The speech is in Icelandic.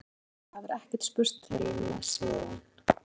Hún hvarf í einni landlegunni og það hefur ekkert spurst til hennar síðan.